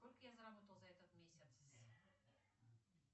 сколько я заработала за этот месяц